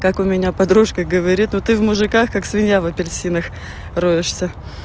как у меня подружка говорит вот ты в мужиках как свинья в апельсинах роешься